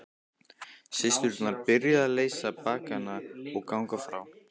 Systurnar byrjuðu að leysa baggana og ganga frá.